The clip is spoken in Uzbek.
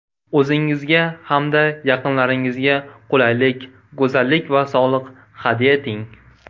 O‘zingizga hamda yaqinlaringizga qulaylik, go‘zallik va sog‘liq hadya eting!